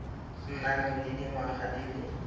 nang le dingwaga di le